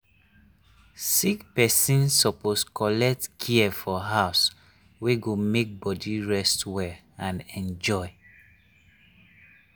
sick person suppose collect care for house wey go make body rest well and enjoy.